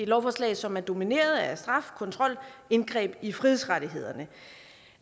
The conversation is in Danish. lovforslag som er domineret af straf kontrol indgreb i frihedsrettighederne